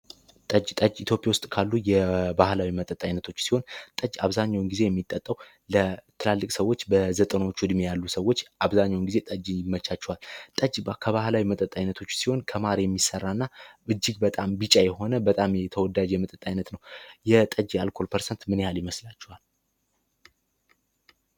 ጠጅ፡ ጠጅ ኢትዮጵያ ውስጥ ካሉ የባህላዊ መጠጥ አይነቶች ውስጥ ሲሆን ጠጅ አብዛኛውን ጊዜ የሚጠጣው ለትላልቅ ሰወች አብዛኛውን ጊዜ ጠጅ ይመቻችዋል። ጠጅ ከባህላዊ መጠጣት አይነቶች ውስጥ ሲሆን ከማር የሚሠራ እና እጅግ በጣም ቢጫ የሆነ በጣም ተወዳጅ የሆነ የመጠጥ አይነት ነው። የጠጅ የአልኮል ፐርሰንት ምን ያህል ይመስላቸዋል?